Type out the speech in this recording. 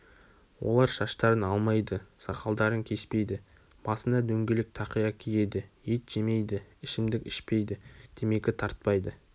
олар шаштарын алмайды сакалдарын кеспейді басына дөңгелек тақия киеді ет жемейді ішімдік ішпейді темекі тартпайды